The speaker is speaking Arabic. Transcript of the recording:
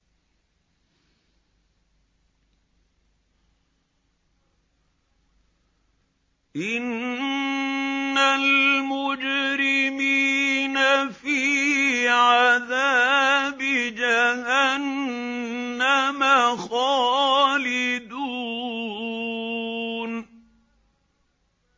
إِنَّ الْمُجْرِمِينَ فِي عَذَابِ جَهَنَّمَ خَالِدُونَ